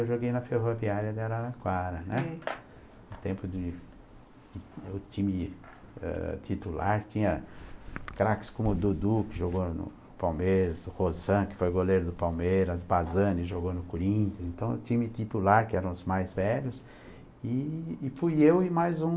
Eu joguei na Ferroviária de Araraquara, né, no tempo de do time ãh titular, tinha craques como o Dudu, que jogou no Palmeiras, o Rosan, que foi goleiro do Palmeiras, o Basani jogou no Corinthians, então o time titular, que eram os mais velhos, e e fui eu e mais um